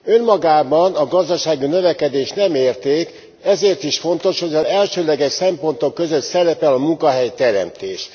Önmagában a gazdasági növekedés nem érték, ezért is fontos, hogy az elsődleges szempontok között szerepel a munkahelyteremtés.